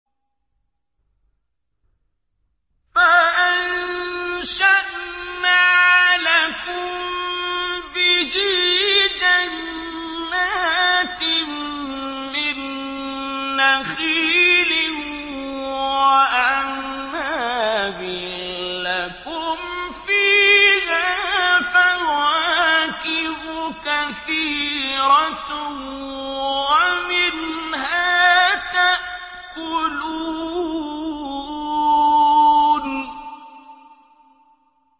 فَأَنشَأْنَا لَكُم بِهِ جَنَّاتٍ مِّن نَّخِيلٍ وَأَعْنَابٍ لَّكُمْ فِيهَا فَوَاكِهُ كَثِيرَةٌ وَمِنْهَا تَأْكُلُونَ